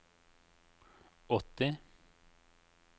åtti